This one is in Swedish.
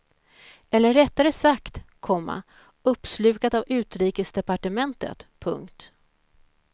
Eller rättare sagt, komma uppslukat av utrikesdepartementet. punkt